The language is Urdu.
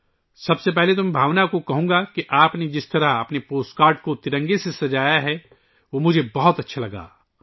سب سے پہلے، میں بھاونا سے کہوں گا کہ آپ کا اپنے پوسٹ کارڈ کو ترنگے سے سجانے کا طریقہ مجھے بہت پسند آیا